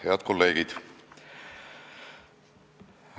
Head kolleegid!